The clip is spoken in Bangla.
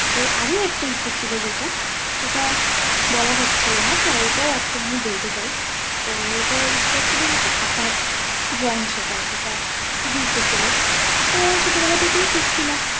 তো আর একটা ইচ্ছা ছিল যেটা সেটা বলা হচ্ছিল না তো এটাও আজকে আমি বলতে চাই তো এটা ইচ্ছা ছিল যেটা আঁকা drawing শেখা যেটা খুব ইচ্ছে ছিল তো ছোটবেলা থেকেই শিখছিলাম,